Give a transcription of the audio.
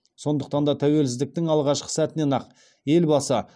сондықтан да тәуелсіздіктің алғашқы сәтінен ақ елбасы